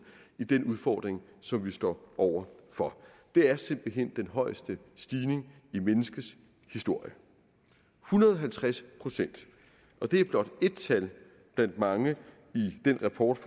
i den udfordring som vi står over for det er simpelt hen den højeste stigning i menneskets historie en hundrede og halvtreds procent og det er blot ét tal blandt mange i den rapport